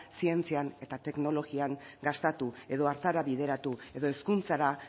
zientzian eta teknologian gastatu edo hartara bideratu edo hezkuntzara